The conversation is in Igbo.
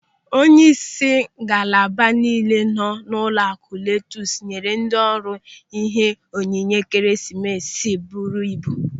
Onyeisi ngalaba niile nọ n'ụlọaku LOTUS nyere ndị ọrụ ihe onyinye Ekeresimesi buru ibu.